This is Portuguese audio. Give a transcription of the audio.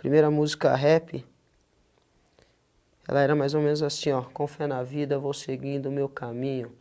Primeira música rap, ela era mais ou menos assim ó, com fé na vida, vou seguindo o meu caminho,